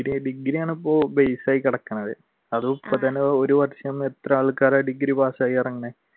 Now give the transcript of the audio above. ഡിഗ്രിയാണിപ്പോൾ base ആയി കിടക്കുന്നത് അത് ഇപ്പ തന്നെ ഒരു വര്ഷം എത്ര ആൾക്കാരാണ് ഡിഗ്രി pass ആയി ഇറങ്ങുന്നത്.